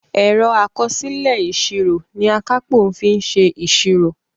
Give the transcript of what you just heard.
Ẹ̀rọ àkọsílẹ̀ ìsírò ní Akápò fí ṣe ìsírò.